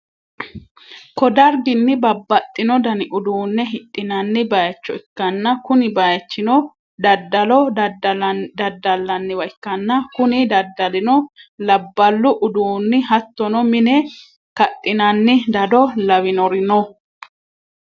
ko darginni babbaxxino dani uduunne hidhi'nanni bayicho ikkanna, kuni bayichino daddalo daddallanniwa ikkanna, kuni daddalino labballu uduunni hattono mine kadhi'nanni dado lawinori no.